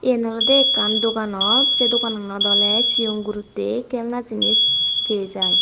yen olode ekkan doganot sey dogananot olode sigon gurotte kelana jinis pey jai.